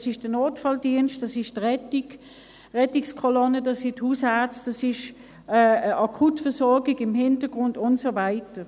Das ist der Notfalldienst, das ist die Rettungskolonne, das sind die Hausärzte, das ist die Akutversorgung im Hintergrund und so weiter.